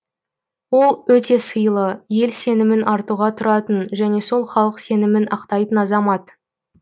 ол өте сыйлы ел сенімін артуға тұратын және сол халық сенімін ақтайтын азамат